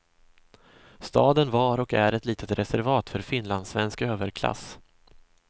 Staden var och är ett litet reservat för finlandssvensk överklass.